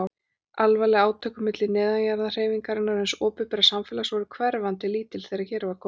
Alvarleg átök milli neðanjarðarhreyfingarinnar og hins opinbera samfélags voru hverfandi lítil þegar hér var komið.